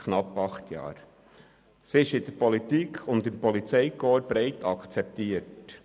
Sie ist von der Politik und vom Polizeikorps breit akzeptiert.